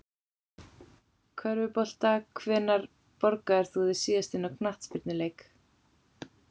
Körfubolta Hvenær borgaðir þú þig síðast inn á knattspyrnuleik?